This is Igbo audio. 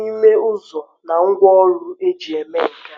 n’ime ụzọ na ngwaọrụ e ji eme nke a?